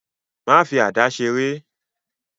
Má fi àdá seré.